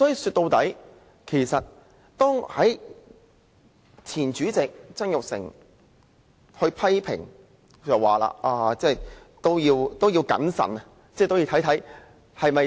說到底，其實前主席曾鈺成也曾作出批評，認為我們應謹慎行事。